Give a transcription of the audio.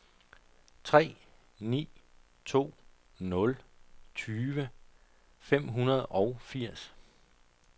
tre ni to nul tyve fem hundrede og firs